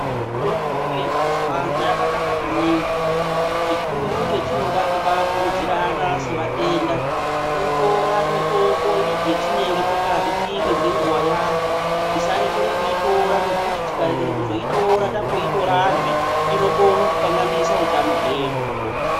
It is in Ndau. Mitombo yemazuwano yakanaka maningi. Chikuru chatinoda kubakurudzirana sevatenda, kutora mutombo yetinenge takazi timwe ngenguwa yahwo. Tisarekera kuitora ngekuti tikarekera kuzoitora tamboitorazve, inokona kukanganisa utano hwedu.